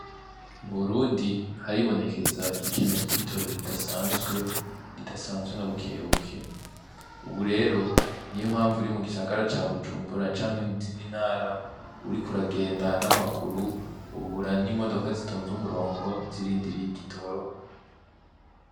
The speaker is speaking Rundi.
Mu Burundi haribonekeza ikena ry'igitoro ridasanzwe, ridasanzwe na buke buke , ubu rero niyo mpamvu uri mu gisagara ca Bujumbura canke mu nzindi ntara uriko uragenda n'amaguru uhura n'imodoka zitonze umurongo zirindiriye igitoro.